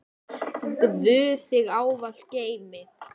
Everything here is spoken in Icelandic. Guð þig ávallt geymi.